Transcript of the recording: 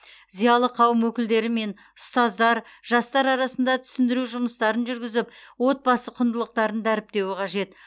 зиялы қауым өкілдері мен ұстаздар жастар арасында түсіндіру жұмыстарын жүргізіп отбасы құндылықтарын дәріптеуі қажет